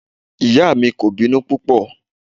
Ìyá mi kò bínú púpọ̀.